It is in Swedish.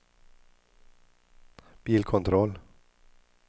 bilkontroll